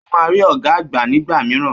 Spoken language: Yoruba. Ó máa rí ọ̀gá àgbà nígbà mìíràn